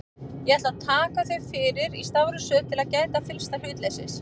Ég ætla að taka þau fyrir í stafrófsröð til þess að gæta fyllsta hlutleysis.